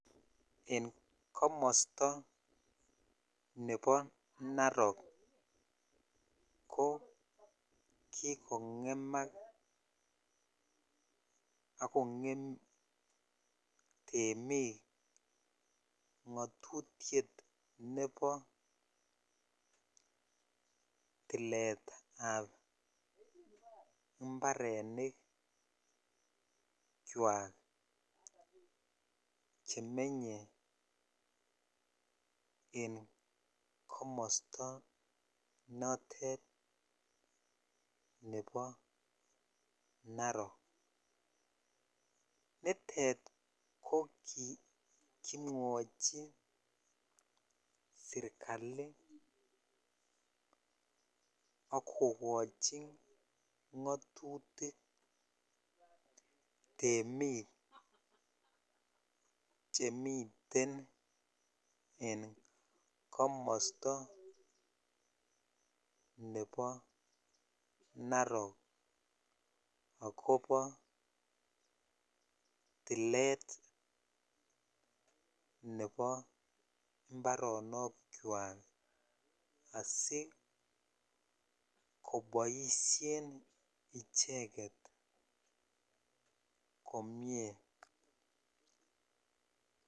En komosto nebo Narok ko kigong'emak ak kong'em temik ng'atutiet nebo tilit ab mbarenik chwak chemenye en komosto notet nebo Narok. Nitet ko kigimwochi serkalit ak kogochi ng'atutik temik chemiten en komosto nebo Narok agobo tilet nebo mbaronok kywak asikoboisien icheget komie.